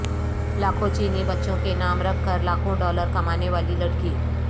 لاکھوں چینی بچوں کے نام رکھ کر لاکھوں ڈالر کمانے والی لڑکی